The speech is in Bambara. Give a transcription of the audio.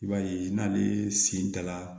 I b'a ye n'ale sen dara